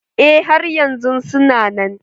Eh har yanzun su na nan.